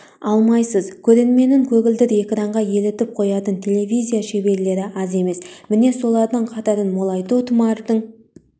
алмайсыз көрерменін көгілдір экранға елітіп қоятын телевизия шеберлері аз емес міне солардың қатарын молайту тұмардың